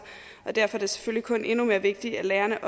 og derfor er det selvfølgelig kun endnu mere vigtigt at lærerne